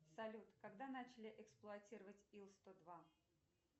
салют когда начали эксплуатировать ил сто два